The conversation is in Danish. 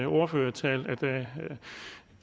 ordførertale